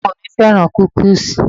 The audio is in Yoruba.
Ọmọ mi féràn kúkíísì.